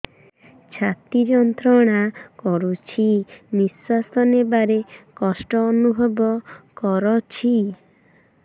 ଛାତି ଯନ୍ତ୍ରଣା କରୁଛି ନିଶ୍ୱାସ ନେବାରେ କଷ୍ଟ ଅନୁଭବ କରୁଛି